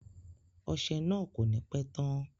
Ọsẹ náà ko ni pẹ tán.